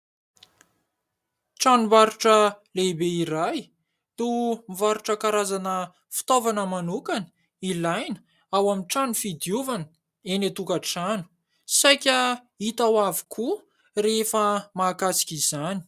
tranombarotro lehibe iray no mivarotra karazana fitaovana manokana ilaina ao amin'ny trano fidiovana eny antokantrano, saika hita ao avokoa rehefa mahakasika izany.